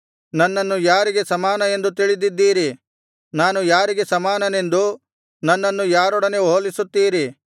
ನನ್ನನ್ನು ಯಾರಿಗೆ ಸಮಾನ ಎಂದು ತಿಳಿದಿದ್ದೀರಿ ನಾನು ಯಾರಿಗೆ ಸಮಾನನೆಂದು ನನ್ನನ್ನು ಯಾರೊಡನೆ ಹೊಲಿಸುತ್ತೀರಿ